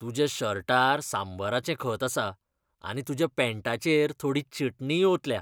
तुज्या शर्टार सांबराचें खत आसा आनी तुज्या पॅण्टाचेर थोडी चटणीय ओंतल्या.